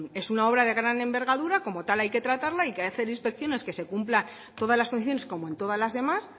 es una obra de gran envergadura como tal hay que tratarla y hay que hacer inspecciones que se cumpla todas las condiciones como en todas las demás